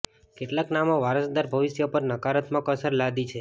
કેટલાક નામો વારસદાર ભવિષ્ય પર નકારાત્મક અસર લાદી છે